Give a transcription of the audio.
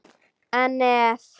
En ef?